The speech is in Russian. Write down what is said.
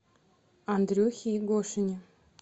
андрюхе егошине